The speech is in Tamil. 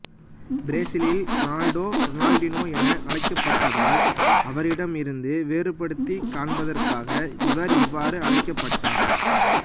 பிரேசிலில் ரொனால்டோ ரொனால்டினோ என அழைக்கப்பட்டதால் அவரிடம் இருந்து வேறுபடுத்திக் காண்பதற்காக இவர் இவ்வாறு அழைக்கப்பட்டார்